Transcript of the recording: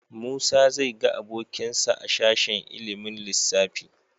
Musa zai ga abokinsa a sashen ilimin lissafi.